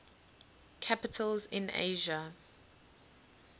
capitals in asia